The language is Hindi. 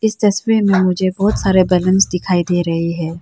इस तस्वीर में मुझे बहुत सारे बलूंस दिखाई दे रहे हैं।